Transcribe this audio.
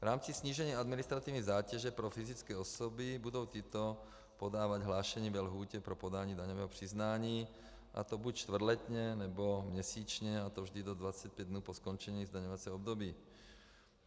V rámci snížení administrativní zátěže pro fyzické osoby budou tyto podávat hlášení ve lhůtě pro podání daňového přiznání, a to buď čtvrtletně, nebo měsíčně, a to vždy do 25 dnů po skončení zdaňovacího období.